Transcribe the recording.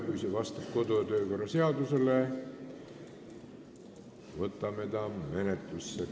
Kui see vastab kodu- ja töökorra seadusele, võtame selle menetlusse.